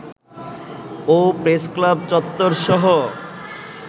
O press club চত্বরসহ